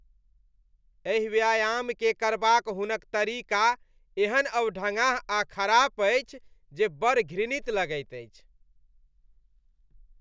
एहि व्यायामकेँ करबाक हुनक तरीका एहेन अवढङ्गाह आ खराब अछि जे बड़ घृणित लगैत अछि।